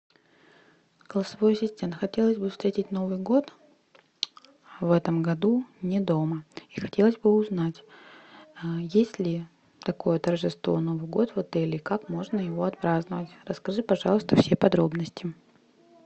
голосовой ассистент хотелось бы встретить новый год в этом году не дома и хотелось бы узнать есть ли такое торжество новый год в отеле и как можно его отпраздновать расскажи пожалуйста все подробности